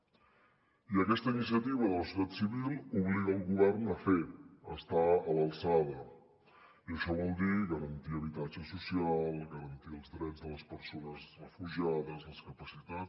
i aquesta iniciativa de la societat civil obliga el govern a fer a estar a l’alçada i això vol dir garantir habitatge social garantir els drets de les persones refugiades les capacitats